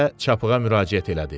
deyə çapığa müraciət elədi.